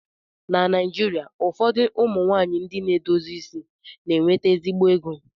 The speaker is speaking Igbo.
Na Naijirịa ụfọdụ ụmụ nwaanyị ndị na-edozi isi na-enweta ezigbo ego